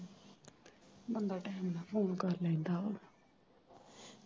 ਬੰਦਾ ਟੈਮ ਨਾਲ ਫੋਨ ਕਰ ਲੈਂਂਦਾ।